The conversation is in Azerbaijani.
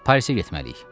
Parisə getməliyik.